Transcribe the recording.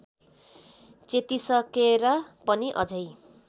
चेतिसकेर पनि अझै